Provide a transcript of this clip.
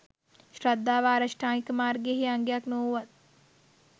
ශ්‍රද්ධාව ආර්ය අෂ්ටාංගික මාර්ගයෙහි අංගයක් නොවූවත්